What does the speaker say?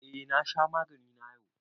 Eh, na sha magani na yau.